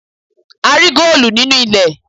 A rí góòlù nínú ilẹ̀.